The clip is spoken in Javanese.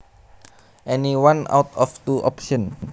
Any one out of two options